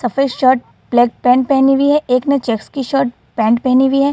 सफ़ेद shirt black pant पहनी हुई है। एक ने चेक्स की शर्ट पेंट पहनी हुई है।